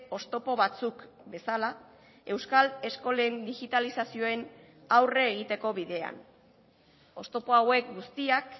oztopo batzuk bezala euskal eskolen digitalizazioen aurre egiteko bidean oztopo hauek guztiak